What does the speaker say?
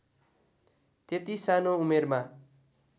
त्यति सानो उमेरमा